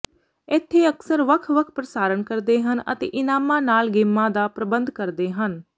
ਇੱਥੇ ਅਕਸਰ ਵੱਖ ਵੱਖ ਪ੍ਰਸਾਰਣ ਕਰਦੇ ਹਨ ਅਤੇ ਇਨਾਮਾਂ ਨਾਲ ਗੇਮਾਂ ਦਾ ਪ੍ਰਬੰਧ ਕਰਦੇ ਹਨ